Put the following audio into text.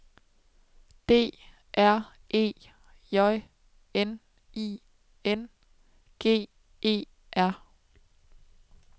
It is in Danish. D R E J N I N G E R